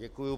Děkuji.